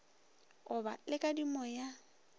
go ba le kadimo ya